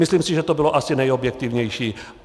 Myslím si, že to bylo asi nejobjektivnější.